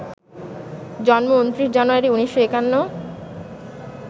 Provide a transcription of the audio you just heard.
জন্ম ২৯ জানুয়ারি, ১৯৫১